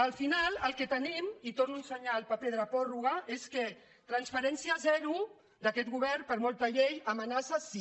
al final el que tenim i torno a ensenyar el paper de la pròrroga és que transparència zero d’aquest govern per molta llei amenaça sí